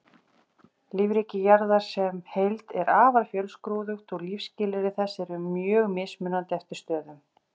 Lífríki jarðar sem heild er afar fjölskrúðugt og lífsskilyrði þess eru mjög mismunandi eftir stöðum.